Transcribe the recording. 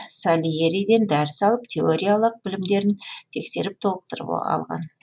сальериден дәріс алып теориялық білімдерін тексеріп толықтырып алған